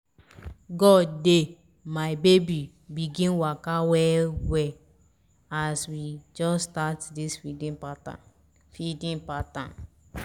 god dey! my baby begin to waka well as we just start this feeding pattern feeding pattern